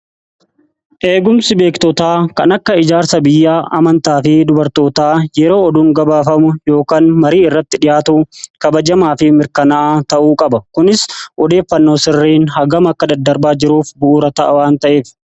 Eegumsi beektootaa kan akka ijaarsa biyya amantaa fi dubartootaa yeroo oduun gabaafamu yookan marii irratti dhihaatu kabajamaa fi mirkanaa ta'uu qaba. Kunis odeeffannoo sirriin haagam akka daddarbaa jiruuf bu'uura ta'a waan ta'eef.